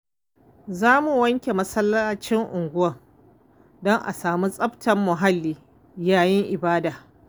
Za mu wanke masallacin unguwa don a samu tsaftar muhalli yayin ibada.